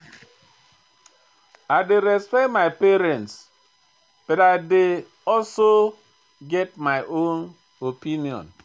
I dey respect my parents but I dey also get my own opinion.